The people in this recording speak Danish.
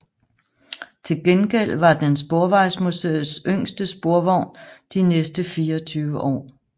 Til gengæld var den Sporvejsmuseets yngste sporvogn de næste 24 år